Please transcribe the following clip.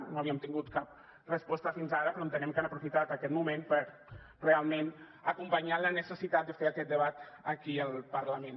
no havíem tingut cap resposta fins ara però entenem que han aprofitat aquest moment per realment acompanyar la necessitat de fer aquest debat aquí al parlament